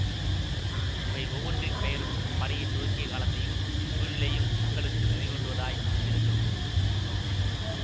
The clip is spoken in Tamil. இவை ஒவ்வொன்றின் பெயரும் அப்படையை துவக்கிய காலத்தையும் சூழ்நிலையையும் மக்களுக்கு நினைவூட்டுவதாய் இருந்திருக்க கூடும்